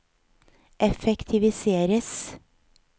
effektiviseres